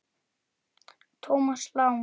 Thomas Lang